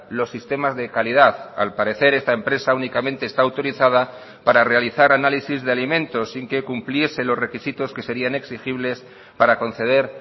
los sistemas de calidad al parecer esta empresa únicamente está autorizada para realizar análisis de alimentos sin que cumpliese los requisitos que serian exigibles para conceder